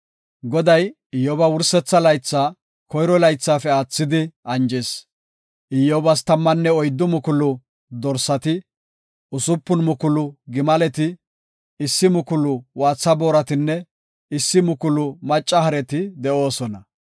Goday Iyyoba wursetha laytha koyro laythaafe aathidi anjis. Iyyobas tammanne oyddu mukulu dorsati, usupun mukulu gimaleti, issi mukulu waaxa booratinne issi mukulu macca hareti de7oosona.